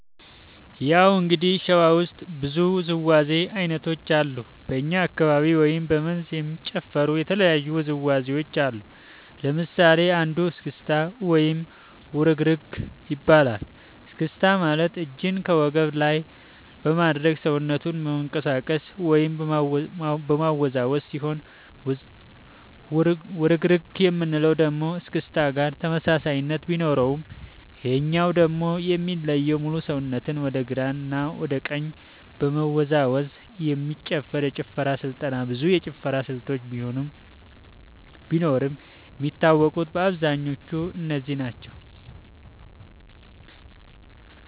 ያው እንግዲህ ሸዋ ውስጥ ብዙ ውዝዋዜ ዐይነቶች አሉ በኛ አካባቢ ወይም በ መንዝ የሚጨፈሩ የተለያዩ ውዝዋዜዎች አሉ ለምሳሌ አንዱ እስክታ ወይም ውርግርግ ይባላል እስክስታ ማለት እጅን በወገብ ላይ በማድረግ ሰውነትን መንቀጥቀጥ ወይም ማወዛወዝ ሲሆን ውርግርግ የምንለው ደግሞ እስክስታ ጋር ተመሳሳይነት ቢኖረውም ይሄኛው ደግሞ የሚለየው ሙሉ ሰውነትን ወደ ግራ እና ወደ ቀኝ በመወዛወዝ የሚጨፈር የጭፈራ ስልጠና ብዙ የጭፈራ ስልቶች ቢኖርም የሚታወቁት በአብዛኛው እነዚህ ናቸው።